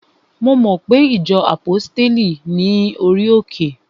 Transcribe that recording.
Mo mo pe ìjọ àpọ́stéli ní orí òkè?